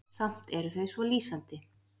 Samt eru þau svo lýsandi.